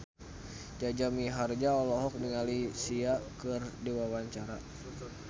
Jaja Mihardja olohok ningali Sia keur diwawancara